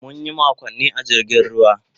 Mun yi makonni a jirgin ruwa.